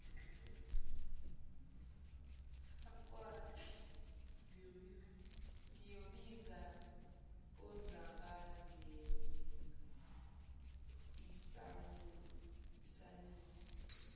ngiyobiza uzabazezwe isanusi